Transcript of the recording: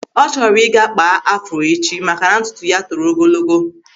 Ọ chọrọ ịga kpaa Afro echi maka na ntutu ya toro ogologo.